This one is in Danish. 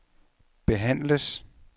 behandles